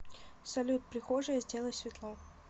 салют прихожая сделай светло